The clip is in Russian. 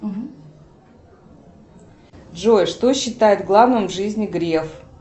джой что считает главным в жизни греф